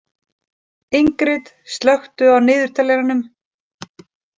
Ingrid, slökku á niðurteljaranum.